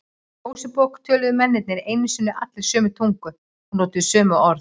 Mósebók töluðu mennirnir einu sinni allir sömu tungu og notuðu sömu orð.